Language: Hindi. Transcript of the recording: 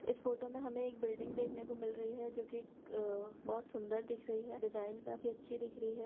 इस बिल्डिंग में हमे एक फोटो मे हमे एक बिल्डिंग देखने को मिल रही हैं जो कि बहुत सुंदर दिख रही हैं डिजाइन बहुत अच्छी दिख रही हैं।